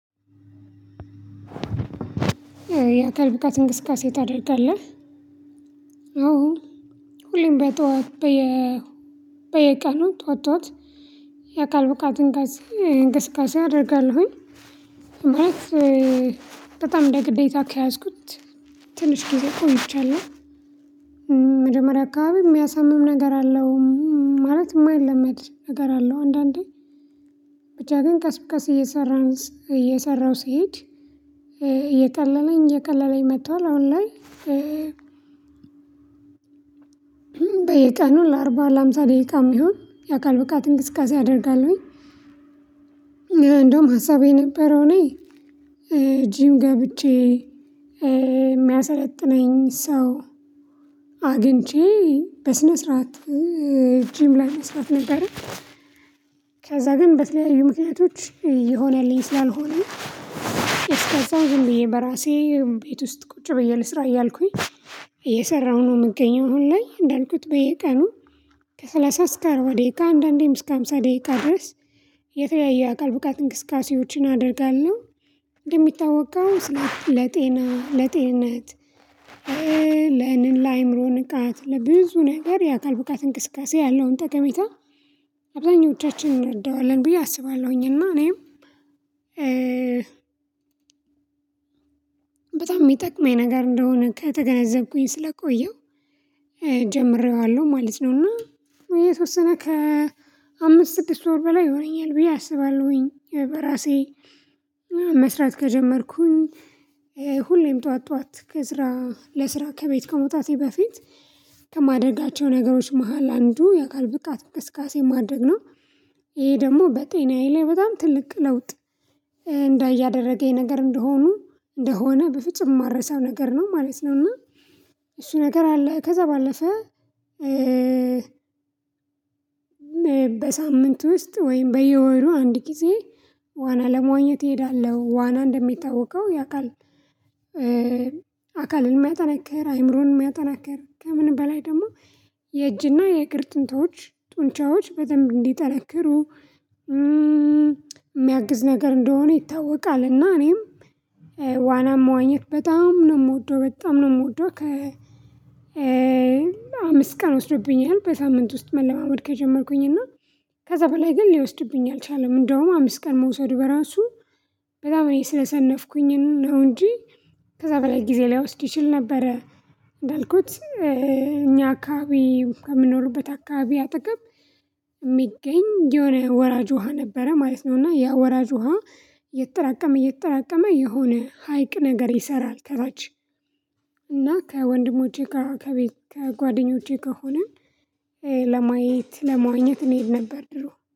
የአካል ብቃት እንቅስቃሴ ታደርጋለ? አዎ ሁሌም በጠዋት በቀኑ ጠዋት ጠዋት የአካል ብቃት እንቅስቃሴ አደርጋለሁኝ፤ ማለት በጣም እንደ ግዴታ ከያዝኩት ትንሽ ጊዜ ቆይቻለሁ መጀመሪያ አካባቢ የሚያሳምም ነገር አለው ማለት የማይለመድ ነገር አለው አንዳንዴ ብቻ ግን ቀስ በቃስ እየሰራን እየሰራሁ ሲሄድ እየቀለለኝ እየቀለለኝ መጥቷል አሁን ላይ በየቀኑ ለአርባ ለሃምሳ ደቂቃም ይሁን የአካል ብቃት እንቅስቃሴ አደርጋለሁኝ እንደውም ሀሳቤ የነበረው እኔ ጂም ገብቼ የሚያሰለጥነኝ ሰው አግኝቼ በስነ ስርዓት ጂም ላይ መስራት ነበረ፤ ከዛ ግን በተለያዩ ምክንያቶች የሆነልኝ ስላልሆነ እስከዛው ዝም ብየ በራሴ ቤት ውስጥ ቁጭ ብዬ ልስራ እያልኩኝ እየሰራሁ ነው የምገኘው አሁን ላይ እንዳልኩት በየቀኑ ከሠላሳ እስከ አርባ ደቂቃ አንዳንዴም እስከ አምሳ ደቂቃ ድረስ የተለያየ አካል ብቃት እንቅስቃሴዎችን አደርጋለሁ እንደሚታወቀው ስለ ለጤና ለጤንነት ለእንል ለአእምሮ ንቃት ለብዙ ነገር የአካል ብቃት እንቅስቃሴ ያለውን ጠቀሜታ አብዛኞቻችንን እንረዳዋለን ብዬ አስባለሁኝ እና እኔም በጣም የሚጠቅመኝ ነገር እንደሆነ ከተገነዘብኩኝ ስለቆየሁ ጀምሬዋለሁ ማለት ነው እና የተወሰነ ከ አምስት ስድስት ወር በላይ ይሆነኛል ብዬ አስባለሁኝ በራሴ መስራት ከጀመርኩኝ ሁሌም ጠዋት ጠዋት ከስራ ለስራ ከቤት ከመውጣቴ በፊት ከማደርጋቸው ነገሮች መሃል አንዱ የአካል ብቃት ቅስቃሴ ማድረግ ነው ይሄ ደግሞ በጤናዬ ላይ በጣም ትልቅ ለውጥ እንዳይ እያደረገኝ ነገር እንደሆኑ እንደሆነ በፍጹም የማልረሳው ነገር ነው ማለት ነው እና እሱ ነገር አለ ከዛ ባለፈ በሳምንት ውስጥ ወይም በየወሩ አንድ ጊዜ ዋና ለመዋኘት እሄዳለሁ ዋና እንደሚታወቀው የአካል አካልን የሚያጠናክር አይምሮን የሚያጠናክር ከምን በላይ ደግሞ የእጅና የእግር ጡንቻዎች በደንብ እንዲጠነክሩ የሚያግዝ ነገር እንደሆነ ይታወቃል እና እኔም ዋናም መዋኘት በጣም ነው የምወደው በጣም ነው የምወደው አምስት ቀን ወስዶብኛል በሳምንት ውስጥ መለማመድ ከጀመርኩኝ እና ከዛ በላይ ግን ሊወስድብኝ አልቻለም እንደውም አምስት ቀን መውሰዱ በራሱ በጣም እኔ ስለሰነፍኩኝ ነው እንጂ ከዛ በላይ ጊዜ ላይወስድ ይችል ነበረ እንዳልኩት እኛ አካባቢ ከምንኖርበት አካባቢ አጠገብ የሚገኝ የሆነ ወራጅ ውሃ ነበረ ማለት ነው እና ያ ወራጅ ውሃ እየተራቀመ እየተራቀመ የሆነ ሀይቅ ነገር ይሰራል ከታች እና ከወንድሞቼ ጋር ከቤት ከጓደኞቼ ከሆነ ለማየት ለመዋኘት እንሄድ ነበር ድሮ